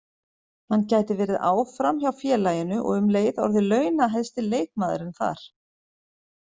Hann gæti verið áfram hjá félaginu og um leið orðið launahæsti leikmaðurinn þar.